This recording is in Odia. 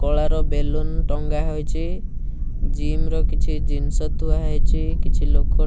କଳା ର ବେଲୁନ୍ ଟଙ୍ଗା ହୋଇଚି ଜିମ୍ ର କିଛି ଜିନ୍ସ ଥୁଆ ହେଇଚି କିଛି ଲୋକ --